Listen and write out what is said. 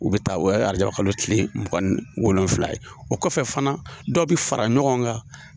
U bɛ taa o ye arajaba kalo tile mugan ni wolonfila ye o kɔfɛ fana dɔw bɛ fara ɲɔgɔn kan